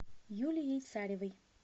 юлией царевой